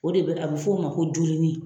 O de bi a bi f'o ma ko duluni